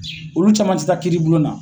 Olu caman ti taa kiiribulon na.